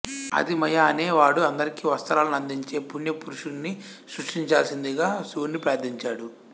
ఆదిమయ అనే వాడు అందరికీ వస్త్రాలను అందిచే పుణ్య పురుషుడిని సృష్టించాల్సిందిగా శివుణ్ణి ప్రార్థించాడు